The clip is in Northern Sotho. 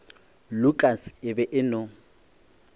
lukas e be e no